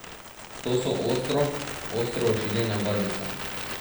To so ostro, ostro ošiljene barvice.